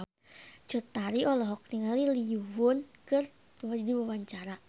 Cut Tari olohok ningali Lee Yo Won keur diwawancara